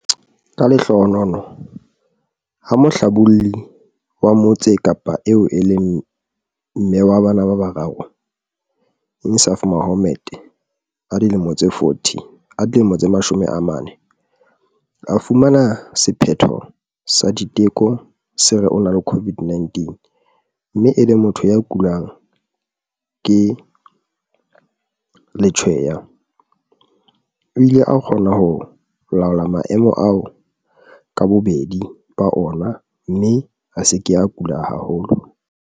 Ka lehlohonolo, ha mohlabolli wa Motse Kapa eo e leng mme wa bana ba bararo Insaaf Mohammed, 40, a fumana sephetho sa diteko se re o na le COVID-19 mme e le motho ya kulang ke letshweya, o ile a kgona ho laola maemo ao ka bobedi ba ona mme a se ke a kula haholo.